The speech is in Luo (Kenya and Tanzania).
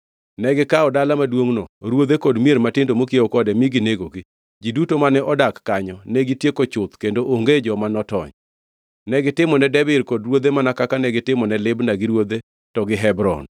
Negikawo dala maduongʼno, ruodhe kod mier matindo mokiewo kode mi ginegogi. Ji duto mane odak kanyo negitieko chuth kendo onge joma notony. Negitimone Debir kod ruodhe mana kaka negitimone Libna gi ruodhe, to gi Hebron.